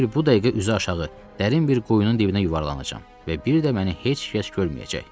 Elə bil bu dəqiqə üzüaşağı dərin bir quyunun dibinə yuvarlanacam və bir də məni heç kəs görməyəcək.